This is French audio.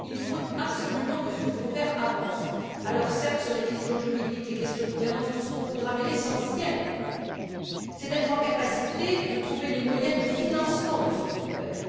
Il faut absolument que ce fonds vert avance, alors, certes, sur les questions juridiques, les questions de gouvernance et tout ce que l'on voudra, mais l'essentiel, c'est d'être capable de trouver les moyens de financement de ce fonds vert.